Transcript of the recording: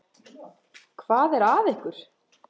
Hvað er að ykkur?